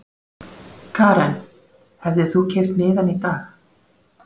Karen: Hefðir þú keypt miðann í dag?